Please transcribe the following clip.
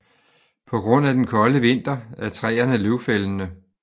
På grund af den kolde vinter er træerne løvfældende